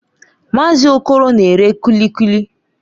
Mazị Okoro na-ere Kuli Kuli